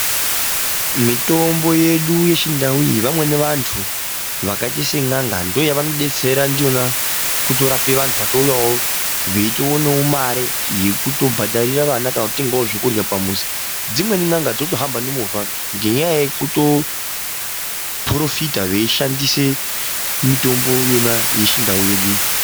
Mitombo yedu yechindau iyi vamweni vantu vakaita sen'anga ndiyo yavanodetsera ndiyona kutorapa vantu vatouyawo veitoonawo mare yekutobhadharira vana kana kutengawo zvekudyra pamuzi. Dzimweni n'anga dzotohamba nemovha ngenyaya yekutotoporofita veishandisa mitombo yona yechindau yedu.